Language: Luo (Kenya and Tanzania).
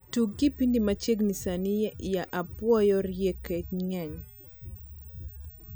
tug kipindi ma chiegni sani ya apuoyo rieke ngeny